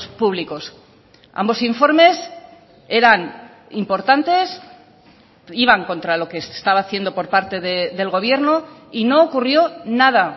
públicos ambos informes eran importantes iban contra lo que se estaba haciendo por parte del gobierno y no ocurrió nada